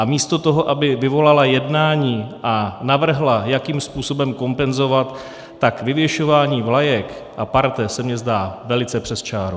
A místo toho, aby vyvolala jednání a navrhla, jakým způsobem kompenzovat, tak vyvěšování vlajek a parte se mi zdá velice přes čáru.